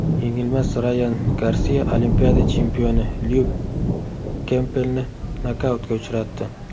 Yengilmas Rayan Garsiya Olimpiada chempioni Lyuk Kempbelni nokautga uchratdi.